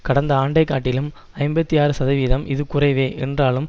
கடந்த ஆண்டைக்காட்டிலும் ஐம்பத்தி ஆறு சதவிகிதம் இது குறைவே என்றாலும்